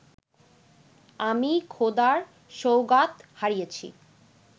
আমি খোদার সওগাত হারিয়েছি